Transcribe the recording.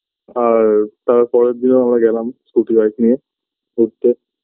আর তার পরেরদিনও আমরা গেলাম scooty bike নিয়ে ঘুরতে